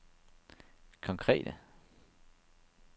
konkrete